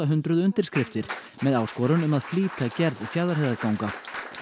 hundruð undirskriftir með áskorun um að flýta gerð Fjarðarheiðarganga